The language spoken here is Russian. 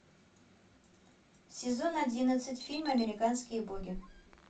сезон одиннадцать фильм американские боги